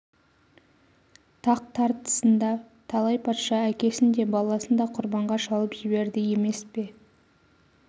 тақ тартысында талай патша әкесін де баласын да құрбанға шалып жіберді емес пе